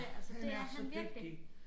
Ja han er så dygtig